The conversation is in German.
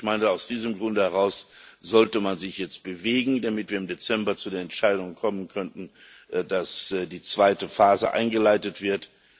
Ich meine, aus diesem Grunde heraus sollte man sich jetzt bewegen, damit wir im Dezember zu der Entscheidung kommen könnten, dass die zweite Phase eingeleitet wird.